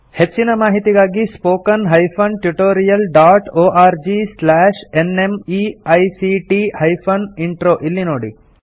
ಹೆಚ್ಚಿನ ಮಾಹಿತಿಗಾಗಿ spoken hyphen tutorial dot org slash NMEICT hyphen intro ಇಲ್ಲಿ ನೋಡಿ